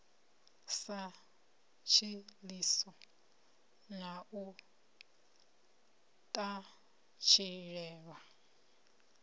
sa tshiḽiso na u ṱatshilelwa